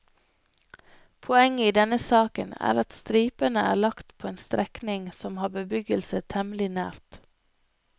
Poenget i denne saken er at stripene er lagt på en strekning som har bebyggelse temmelig nært.